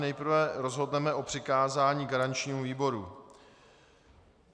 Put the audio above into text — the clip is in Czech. Nejprve rozhodneme o přikázání garančnímu výboru.